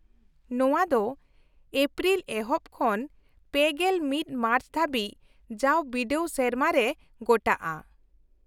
-ᱱᱚᱶᱟ ᱫᱚ ᱮᱯᱨᱤᱞ ᱮᱦᱚᱯ ᱠᱷᱚᱱ ᱓᱑ ᱢᱟᱨᱪ ᱫᱷᱟᱹᱵᱤᱡ ᱡᱟᱣ ᱵᱤᱰᱟᱹᱣ ᱥᱮᱨᱢᱟ ᱨᱮ ᱜᱚᱴᱟᱜᱼᱟ ᱾